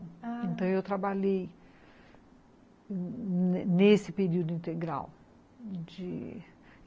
Então, eu trabalhei nesse período integral.